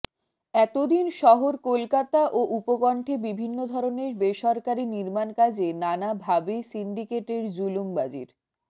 এত দিন শহর কলকাতা ও উপকণ্ঠে বিভিন্ন ধরনের বেসরকারি নির্মাণকাজে নানা ভাবে সিন্ডিকেটের জুলুমবাজির